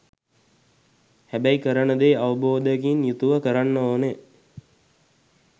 හැබැයි කරන දේ අවබෝධයකින් යුතුව කරන්න ඕනේ.